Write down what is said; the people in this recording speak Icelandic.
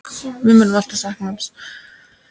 Við munum alltaf sakna hans.